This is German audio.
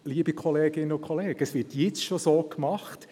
Liebe Kolleginnen und Kollegen, es wird jetzt schon so gemacht: